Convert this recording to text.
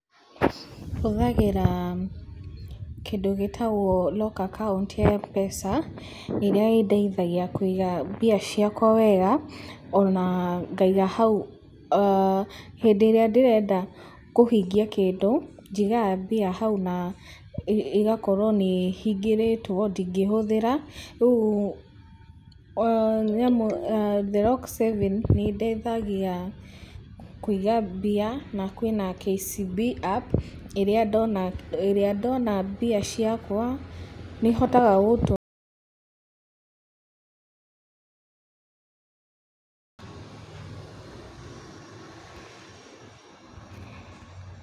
Hũthagĩra kĩndũ gĩtagwo Lock Account ya Mpesa ĩrĩa ĩndeithagia kũiga mbia ciakwa wega ona ngaiga hau, aah hĩndĩ ĩrĩa ndĩrenda kũhingia kĩndũ njigaga mbia na hau na ĩgakorwo atĩ nĩ hingĩrĩtwo ndingĩhũthĩra, rĩu the Lock Savings nĩ ĩteithagia Kũiga mbia na kwĩna KCB App ĩrĩa ndona mbia ciakwa nĩ hotaga gũtwara